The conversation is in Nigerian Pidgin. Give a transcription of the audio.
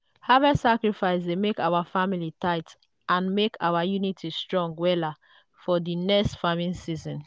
harvest sacrifice dey make our family tight and make our unity strong wella for di next farming season.